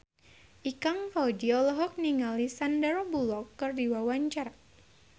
Ikang Fawzi olohok ningali Sandar Bullock keur diwawancara